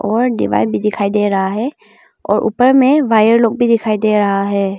और दीवार भी दिखाई दे रहा है और ऊपर में वायर लोग भी दिखाई दे रहा है।